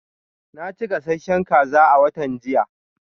Na ci gasasshen kaza a watan jiya.